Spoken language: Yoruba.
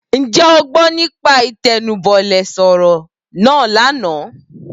Ǹjẹ́ o gbọ́ nípa Ìtẹnubọlẹ̀ sọ̀rọ̀ náà lánàá?